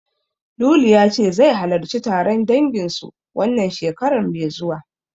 Lulu ya ce, zai halarci taron dangin su, wannan shekarar mai zuwa.